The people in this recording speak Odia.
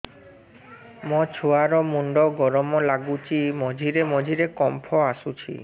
ମୋ ଛୁଆ ର ମୁଣ୍ଡ ଗରମ ଲାଗୁଚି ମଝିରେ ମଝିରେ କମ୍ପ ଆସୁଛି